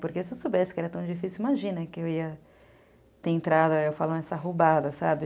Porque se eu soubesse que era tão difícil, imagina que eu ia ter entrado nessa roubada, sabe?